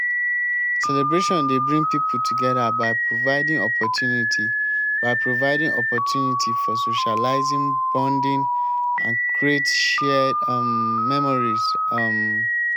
celebration dey bring people together by providing opportunity by providing opportunity for socializing bonding and create shared um memories. um